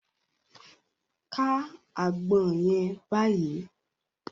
Ká àgbọn yẹn báyìí!